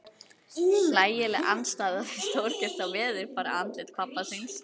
Hlægileg andstæða við stórgert og veðurbarið andlit pabba hans.